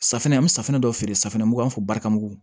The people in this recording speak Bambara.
Safunɛ an bɛ safunɛ dɔ feere safunɛ fɔ barika mugu